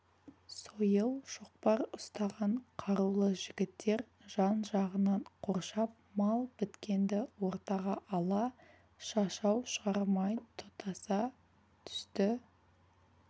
сойыл шоқпар ұстаған қарулы жігіттер жан-жағынан қоршап мал біткенді ортаға ала шашау шығармай тұтаса түсті